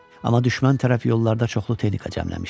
Amma düşmən tərəf yollarda çoxlu texnika cəmləmişdi.